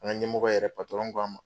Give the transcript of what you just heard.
An ka ɲɛmɔgɔ yɛrɛ k'a ma .